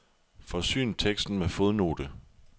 Forsyn teksten med fodnote.